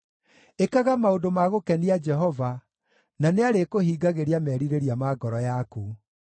Ĩkaga maũndũ ma gũkenia Jehova, na nĩarĩkũhingagĩria merirĩria ma ngoro yaku.